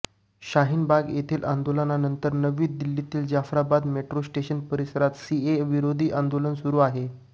शाहीन बाग येथील आंदोलनानंतर नवी दिल्लीतील जाफराबाद मेट्रो स्टेशन परिसरात सीएए विरोधी आंदोलन सुरू आहे